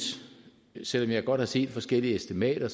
selv om jeg godt har set forskellige estimater